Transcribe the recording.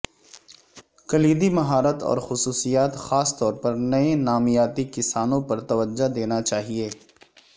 کلیدی مہارت اور خصوصیات خاص طور پر نئے نامیاتی کسانوں پر توجہ دینا چاہئے